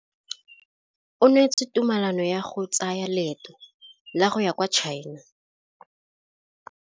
O neetswe tumalanô ya go tsaya loetô la go ya kwa China.